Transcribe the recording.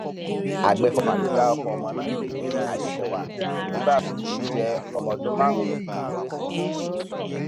àgbẹfọfà ló dárúkọ ọmọ náà pé adèsèwà juribas ló ń jẹ ọmọ ọdún márùnún péré sí ni